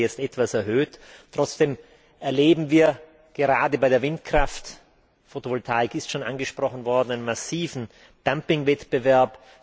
Das wurde zwar jetzt etwas erhöht, trotzdem erleben wir gerade bei der Windkraft Fotovoltaik ist schon angesprochen worden massiven Dumpingwettbewerb.